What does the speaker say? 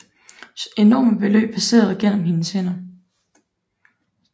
Enorme beløb passerede gennem hendes hænder